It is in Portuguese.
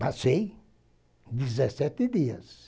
Passei dezessete dias.